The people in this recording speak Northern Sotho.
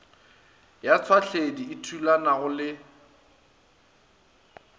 ya tšhwahledi e thulanago le